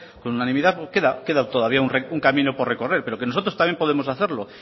con unanimidad queda todavía un camino por recorrer pero que nosotros también podemos hacerlo